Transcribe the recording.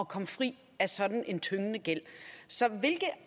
komme fri af sådan en tyngende gæld så hvilke